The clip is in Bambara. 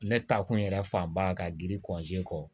Ne ta kun yɛrɛ fan ba ka giri kɔ